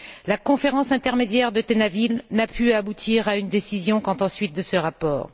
La conférence intermédiaire de Tel Aviv n'a pu aboutir à une décision quant aux suites de ce rapport.